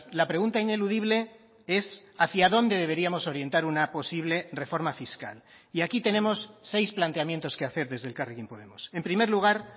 la pregunta ineludible es hacia dónde deberíamos orientar una posible reforma fiscal y aquí tenemos seis planteamientos que hacer desde elkarrekin podemos en primer lugar